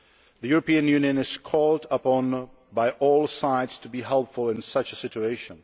The European Union is called upon by all sides to be helpful in such a situation.